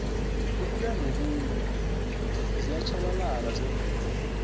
ukuyanokuya ziyatjhabalala zemvelo